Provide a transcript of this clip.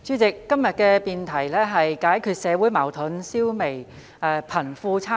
代理主席，今天的辯論題目是"解決社會矛盾，消弭貧富差距"。